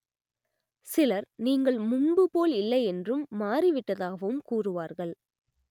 சிலர் நீங்கள் முன்பு போல் இல்லையென்றும் மாறி விட்டதாகவும் கூறுவார்கள்